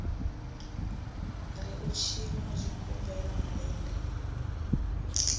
ri u tshinwa zwigombela malende